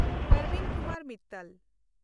Parveen Kumar Mittal